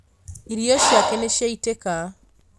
Irio ciake nĩciaitĩka